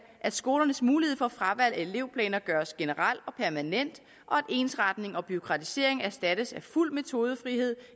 at skolernes mulighed for fravalg af elevplaner gøres generel og permanent og at ensretning og bureaukratisering erstattes af fuld metodefrihed